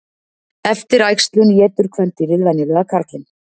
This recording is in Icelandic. Eftir æxlun étur kvendýrið venjulega karlinn.